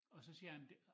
Og så siger han det